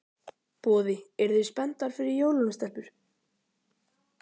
Boði: Eruð þið spenntar fyrir jólunum, stelpur?